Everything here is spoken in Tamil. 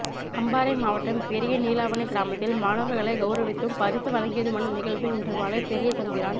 அம்பாறை மாவட்டம் பெரிய நீலாவணைக் கிராமத்தில் மாணவர்களை கௌரவித்தும் பரிசு வழகியதுமான நிகழ்வு இன்று மாலை பெரியதம்பிரான்